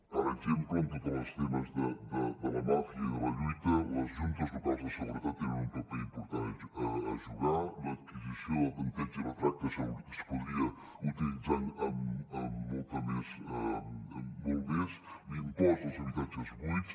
per exemple amb tots els temes de la màfia i de la lluita les juntes locals de seguretat tenen un paper important a jugar l’adquisició del tanteig i retracte es podria utilitzar molt més l’impost als habitatges buits